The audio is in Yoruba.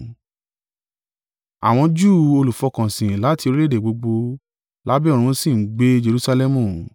Àwọn Júù olùfọkànsìn láti orílẹ̀-èdè gbogbo lábẹ́ ọ̀run sì ń gbé Jerusalẹmu.